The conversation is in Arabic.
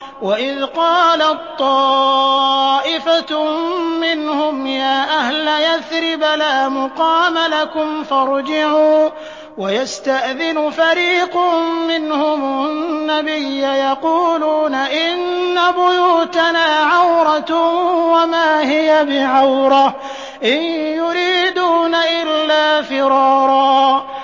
وَإِذْ قَالَت طَّائِفَةٌ مِّنْهُمْ يَا أَهْلَ يَثْرِبَ لَا مُقَامَ لَكُمْ فَارْجِعُوا ۚ وَيَسْتَأْذِنُ فَرِيقٌ مِّنْهُمُ النَّبِيَّ يَقُولُونَ إِنَّ بُيُوتَنَا عَوْرَةٌ وَمَا هِيَ بِعَوْرَةٍ ۖ إِن يُرِيدُونَ إِلَّا فِرَارًا